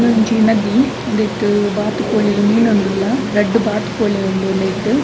ಉಂದೊಂಜಿ ನದಿ ಉಂದೆಟ್ ಬಾತ್ಕೋಳಿಲ್ ಮೀನೊಂದುಲ್ಲ ರಡ್ಡ್ ಬಾತ್ಕೋಳಿ ಉಂಡು ಉಂದೆಟ್.